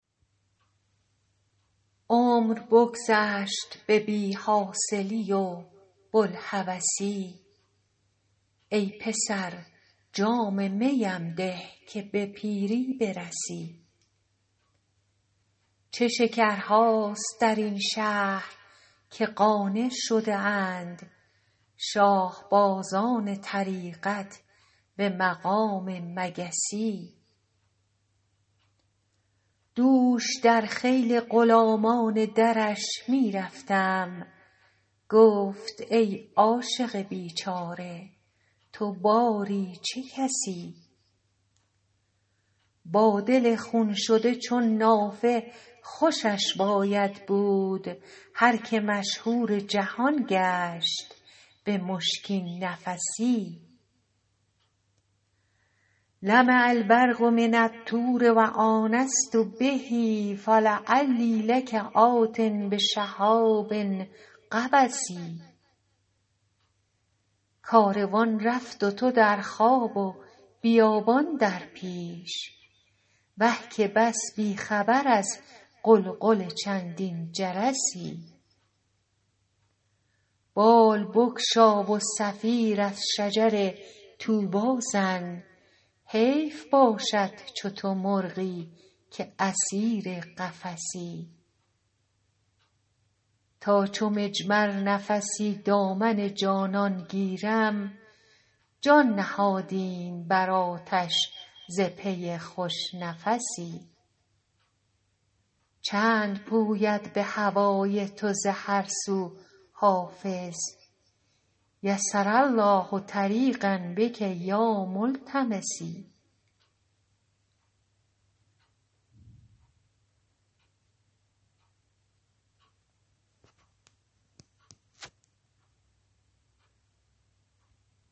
عمر بگذشت به بی حاصلی و بوالهوسی ای پسر جام می ام ده که به پیری برسی چه شکرهاست در این شهر که قانع شده اند شاه بازان طریقت به مقام مگسی دوش در خیل غلامان درش می رفتم گفت ای عاشق بیچاره تو باری چه کسی با دل خون شده چون نافه خوشش باید بود هر که مشهور جهان گشت به مشکین نفسی لمع البرق من الطور و آنست به فلعلی لک آت بشهاب قبس کاروان رفت و تو در خواب و بیابان در پیش وه که بس بی خبر از غلغل چندین جرسی بال بگشا و صفیر از شجر طوبی زن حیف باشد چو تو مرغی که اسیر قفسی تا چو مجمر نفسی دامن جانان گیرم جان نهادیم بر آتش ز پی خوش نفسی چند پوید به هوای تو ز هر سو حافظ یسر الله طریقا بک یا ملتمسی